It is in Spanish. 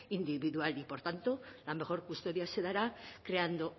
individual y por tanto la mejor custodia se dará creando